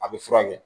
A bɛ furakɛ